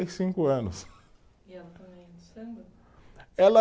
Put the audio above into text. e cinco anos. E ela também é do samba? Ela